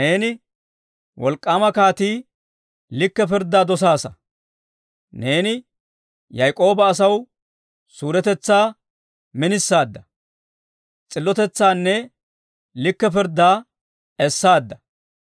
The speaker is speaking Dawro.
Neeni, wolk'k'aama kaatii, likke pirddaa dosaasa. Neeni Yaak'ooba asaw suuretetsaa minisaadda. S'illotetsaanne likke pirddaa essaadda.